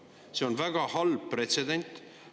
See on väga halb pretsedent.